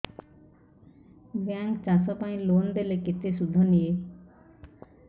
bank ଚାଷ ପାଇଁ loan ଦେଲେ କେତେ ସୁଧ ନିଏ